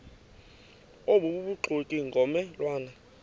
obubuxoki ngomme lwane